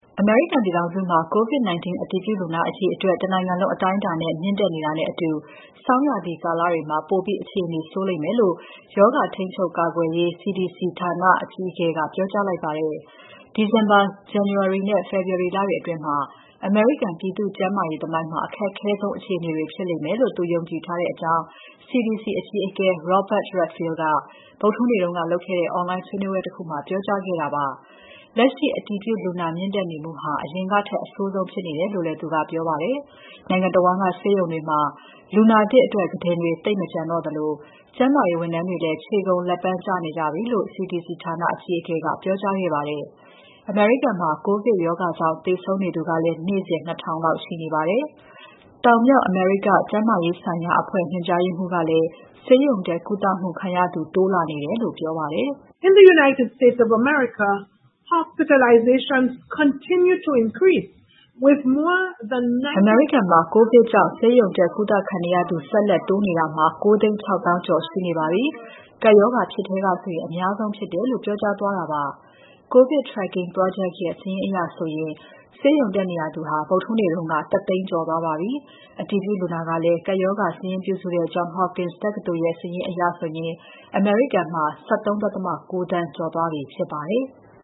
အမေရိကန်ပြည်ထောင်စုမှာ COVID-19 အတည်ပြုလူနာအရေအတွက် တနိုင်ငံလုံးအတိုင်းအတာနဲ့ မြင့်တက်နေတာနဲ့အတူ ဆောင်းရာသီလတွေမှာ ပိုပြီး အခြေအနေဆိုးလိမ့်မယ်လို့ ရောဂါ ထိန်းချုပ် ကာကွယ်ရေးအဖွဲ့ CDC အကြီးအကဲက ပြောကြားလိုက်ပါတယ်။ ဒီဇင်ဘာ၊ ဇန်နဝါရီနဲ့ ဖေဖော်ဝါရီလတွေအတွင်း အမေရိကန်ပြည်သူ့ကျန်းမာရေးသမိုင်းမှာ အခက်ခဲဆုံး အခြေအနေတွေဖြစ်လိမ့်မယ်လို့ သူယုံကြည်ထားကြောင်း CDC အကြီးအကဲ Robert Redfield က ဗုဒ္ဓဟူးနေ့က လုပ်ခဲ့တဲ့ Online ဆွေးနွေးပွဲတခုမှာ ပြောကြားခဲ့ပါတယ်။ လက်ရှိ အတည်ပြုလူနာမြင့်တက်နေမှုဟာ အရင်ကထက် အဆိုးဆုံးဖြစ်နေတယ်လို့ သူကပြောပါတယ်။ နိုင်ငံတဝန်းက ဆေးရုံတွေမှာ လူနာသစ်အတွက် ကုတင်တွေ သိပ်မကျန်တော့သလို ကျန်းမာရေးဝန်ထမ်းတွေလည်း ခြေကုန်လက်ပန်းကျနေကြပြီလို့ CDC ဌာန အကြီးအကဲက ပြောကြားခဲ့ပါတယ်။ အမေရိကန်မှာ ကိုဗစ်ရောဂါကြောင့် သေဆုံးနေသူကလည်း နေ့စဉ် ၂,၀၀၀ လောက်ရှိနေပါတယ်။ တောင်၊ မြောက် အမေရိကန်ကျန်းမာရေးဆိုင်ရာ အဖွဲ့ညွှန်ကြားရေးမှူး Carissa Etienne ကလည်း ဆေးရုံတက်ကုသမှုခံရသူ တိုးလာနေတယ်လို့ပြောပါတယ်။ "အမေရိကန်မှာ ကိုဗစ်ကြောင့် ဆေးရုံတက်ကုသခံနေရသူ ဆက်လက်တိုးနေတာ ၉၆၀,၀၀၀ ကျော်ရှိနေပါပြီ။ ကပ်ရောဂါဖြစ်ထဲကဆိုရင် အများဆုံးဖြစ်တယ်။" လို့ ပြောပါတယ်။ COVID Tracking project ရဲ့ စာရင်းအရဆိုရင် ဆေးရုံတက်နေရသူအရေအတွက်ဟာ ဗုဒ္ဓဟူးနေ့က ၁၀၀,၀၀၀ ကျော်သွားပါပြီ။ အတည်ပြုလူနာကလည်း ကပ်ရောဂါ စာရင်းပြုစုနေတဲ့ Johns Hopkins တက္ကသိုလ်စာရင်းအရ အမေရိကန်မှာ ၁၃.၉ သန်း ကျော်သွားပြီဖြစ်ပါတယ်။